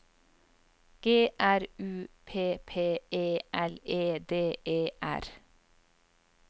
G R U P P E L E D E R